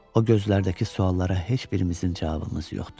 O gözlərdəki suallara heç birimizin cavabımız yoxdur.